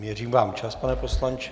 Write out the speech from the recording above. Měřím vám čas, pane poslanče.